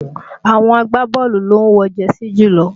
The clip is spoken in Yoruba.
Àwọn agbábọ́ọ̀lù ló ń wọ jẹsí jùlọ